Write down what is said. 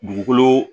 Dugukolo